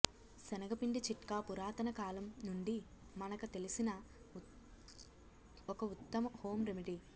శెనగపిండి చిట్కా పురాతన కాలం నుండి మనక తెలిసిన ఒక ఉత్తమ హోం రెమెడీ